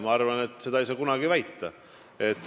Ma arvan, et seda ei saa kunagi väita.